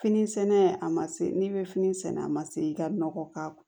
Fini sɛnɛ a ma se n'i bɛ fini sɛnɛ a ma se i ka nɔgɔ k'a kɔ